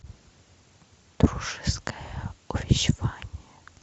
дружеское увещевание